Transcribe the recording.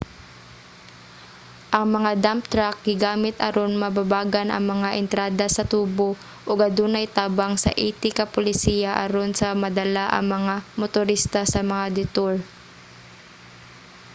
ang mga dump truck gigamit aron babagan ang mga entrada sa tubo ug adunay tabang sa 80 ka pulisya aron sa madala ang mga motorista sa mga detour